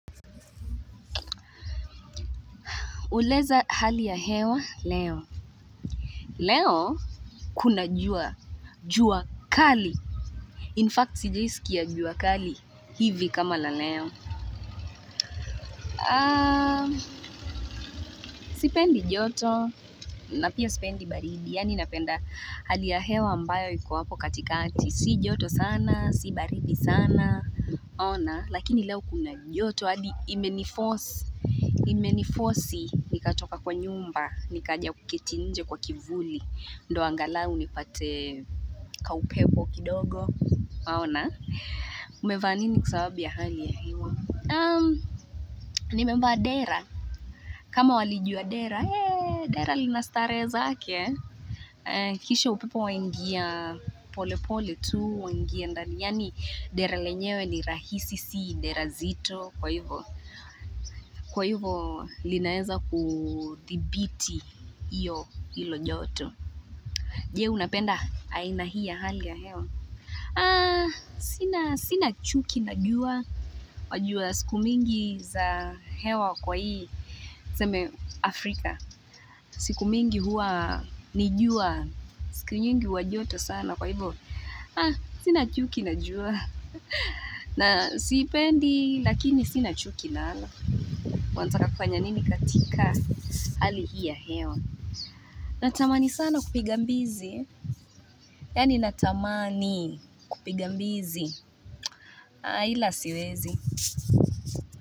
Uleza hali ya hewa leo. Leo kuna jua, jua kali. Infact, sijaisikia jua kali. Hivi kama la leo. Aa, sipendi joto. Na pia sipendi baridi. Yaani napenda hali ya hewa ambayo iko hapo katikati, Si joto sana, si baridi sana. Ona, lakini, leo kuna joto. Hadi imenifosi, Imenifosi. Nikatoka kwa nyumba. Nikaja kuketi nje kwa kivuli. Ndio angalau nipate kaupepo kidogo unaona umevaa nini kwa sababu ya hali ya hewa nimevaa dera kama walijua dera dera lina starehe zake kisha upepo waingia polepole tu wangia ndani yani dera lenyewe ni rahisi si dera zito kwa hivo kwa hivo linaweza kuthibiti iyo hilo joto je, unapenda aina hii ya hali ya hewa? Sina chuki na jua wajua siku mingi za hewa kwa hii tuseme Afrika siku mingi huwa ni jua siku nyingi huwa joto sana kwa hii hivo Sina chuki na jua na siipendi lakini sina chuki nalo Wataka kufanya nini katika hali hii ya hewa Natamani sana kupiga mbizi Yaani natamani kupiga mbizi ila siwezi.